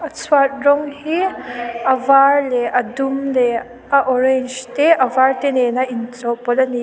chhuat rawng hi a var leh a dum leh a orange te a var te nen a inchawhpawlh ani.